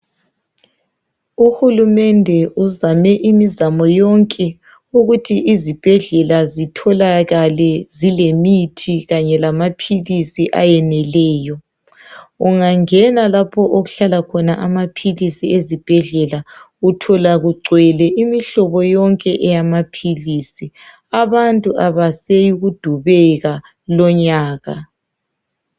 Uhulumende uzame imizamo yonke ukuthi izibhedlela zitholakale zilemithi kanye lamaphilisi ayeneleyo ungangena lapho okuhlala khona amaphilisi ezibhedlela uthola kugcwele imihlobo yonke eyamaphilisi abantu abaseyikudubeka lonyaka